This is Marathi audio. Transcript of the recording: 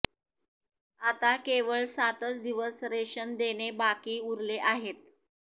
आता केवळ सातच दिवस रेशन देणे बाकी उरले आहेत